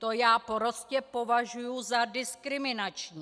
To já prostě považuju za diskriminační.